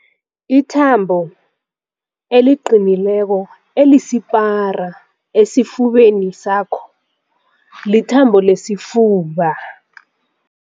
Ithambo eliqinileko elisipara esifubeni sakho lithambo lesifuba.